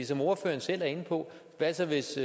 som ordføreren selv er inde på hvad så hvis